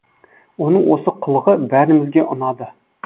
оның осы қылығы бәрімізге ұнады